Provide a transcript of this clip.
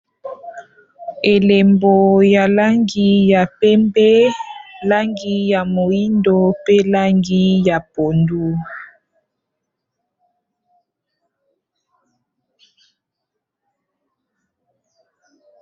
Elembo ya langi ya pembe langi ya moyindo pe langi ya pondu